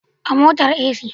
A motar AC